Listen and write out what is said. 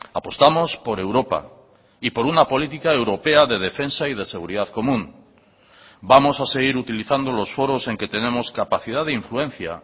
apostamos por europa y por una política europea de defensa y de seguridad común vamos a seguir utilizando los foros en que tenemos capacidad de influencia